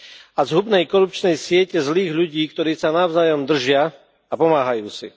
a zhubnej korupčnej siete zlých ľudí, ktorí sa navzájom držia a pomáhajú si.